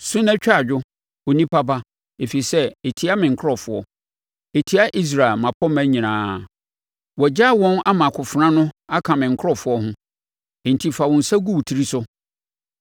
Su na twa adwo, onipa ba, ɛfiri sɛ ɛtia me nkurɔfoɔ; ɛtia Israel mmapɔmma nyinaa. Wɔagyaa wɔn ama akofena no aka me nkurɔfoɔ ho. Enti fa wo nsa gu wo tiri so.